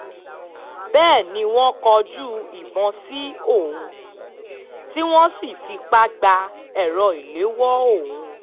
bẹ́ẹ̀ ni wọ́n kọjú ìbọn sí òun tí wọ́n sì fipá gba èrò ìléwọ́ òun